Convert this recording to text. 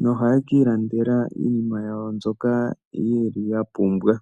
Nohaye ki ilandela iinima yawo mbyoka yeli ya pumbwa.